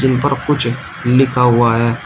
इन पर कुछ लिखा हुआ है।